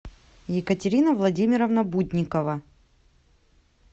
екатерина владимировна будникова